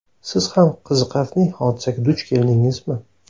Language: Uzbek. Siz ham qiziqarli hodisaga duch keldingizmi?